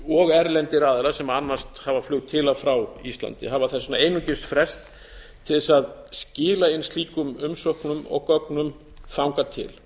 og erlendir aðilar sem annast hafa flug til og frá íslandi hafa þess vegna einungis frest til þess að skila inn slíkum umsóknum og gögnum þangað til